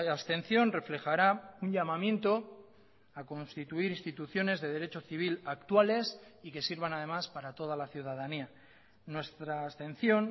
abstención reflejará un llamamiento a constituir instituciones de derecho civil actuales y que sirvan además para toda la ciudadanía nuestra abstención